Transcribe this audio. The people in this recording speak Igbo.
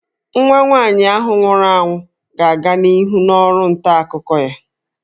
Nwa nwaanyị ahụ nwụrụ anwụ ga-aga n'ihu n'ọrụ nta akụkọ ya